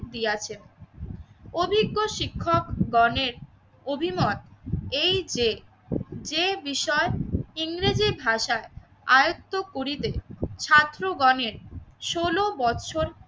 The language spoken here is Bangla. দিয়েছে। অভিজ্ঞ শিক্ষক গণের অভিমত এই যে, যে বিষয় ইংরেজি ভাষা আয়ত্ত করিবে ছাত্রগণের ষোলো বছর